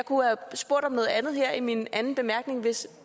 kunne have spurgt om noget andet her i min anden bemærkning hvis